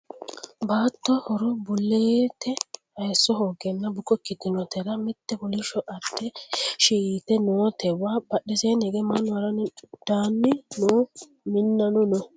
baatto horo buluulte hayiisso hoogeenna buko ikkitinotera mitte kolishsho adde heeshshi yite nootewa badheseenni hige mannu haranninna daanni no minnano no